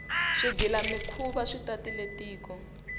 swigila mikhuva swi tatile tiko